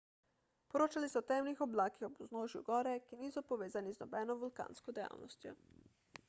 poročali so o temnih oblakih ob vznožju gore ki niso povezani z nobeno vulkansko dejavnostjo